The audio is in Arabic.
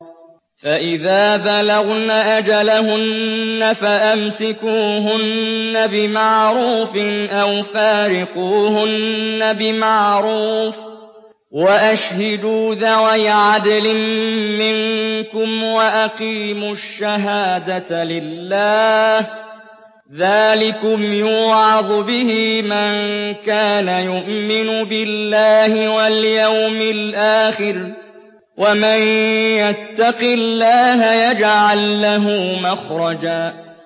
فَإِذَا بَلَغْنَ أَجَلَهُنَّ فَأَمْسِكُوهُنَّ بِمَعْرُوفٍ أَوْ فَارِقُوهُنَّ بِمَعْرُوفٍ وَأَشْهِدُوا ذَوَيْ عَدْلٍ مِّنكُمْ وَأَقِيمُوا الشَّهَادَةَ لِلَّهِ ۚ ذَٰلِكُمْ يُوعَظُ بِهِ مَن كَانَ يُؤْمِنُ بِاللَّهِ وَالْيَوْمِ الْآخِرِ ۚ وَمَن يَتَّقِ اللَّهَ يَجْعَل لَّهُ مَخْرَجًا